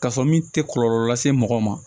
K'a sɔrɔ min tɛ kɔlɔlɔ lase mɔgɔ ma